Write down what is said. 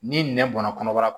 Ni nɛn bɔnna kɔnɔbara la